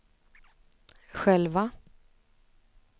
själva